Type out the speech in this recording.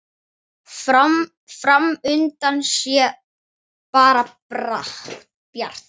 Fram undan sé bara bjart.